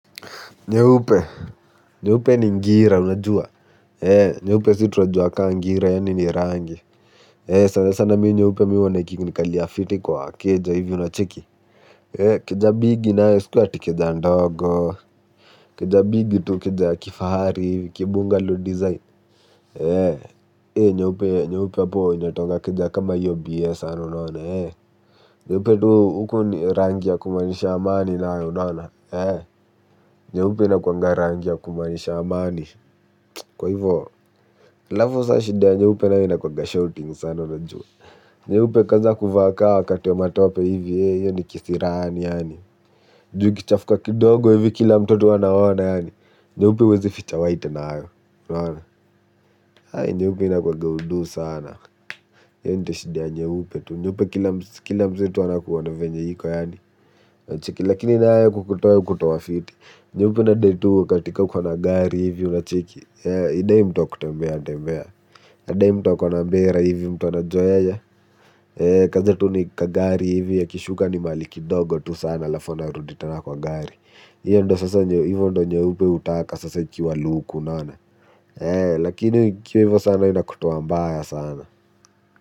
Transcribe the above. Nyeupe, nyeupe ni ngira, unajua. Nyeupe si tunajua ka ngira, yani ni rangi. Sana sana mi nyeupe mi huona ikinikalia fiti kwa keja, hivi unacheki. Keja bigi nayo isikue ati keja ndogo. Keja bigi tu keja ya kifahari hivi kibungallow design ee nyeupe hapo inatoanga keja kama hiyo bie sana unaiona ee. Nyeupe tu huku ni rangi ya kumaanisha amani nayo unaona. Nyeupe inakuanga rangi ya kumaanisha amani. Kwa hivyo, alafu sasa shida ya nyeupe nayo inakuanga shouting sana na juu nyeupe kwaza kuvaa ka wakati wa matope hivi, hiyo ni kisirani, yaani juu ukichafuka kidogo tu hivi kila mtu tu anaona yaani nyeupe huwezi ficha white nayo, unaona nyeupe inakuanga udu sana. Hiyo ndio shida ya nyeupe tu, nyeupe kila mtu anakuona venye iko, yaani unacheki. Lakini nayo kukutoa hukutoa fiti, nyeupe inadai tu ka ati ka uko na gari hivi, unacheki hidai mtu wa kutembea tembea inadai mtu akona mbera hivi mtu anajua yeye kazi tu ni kagari hivi akishuka ni mahali kidogo tu sana alafu anarudi tena kwa gari hiyo ndo sasa hivo ndo nyeupe hutaka sasa ikiwa luku unaone. Lakini ikiwa hivo sana inakutuoa mbaya sana.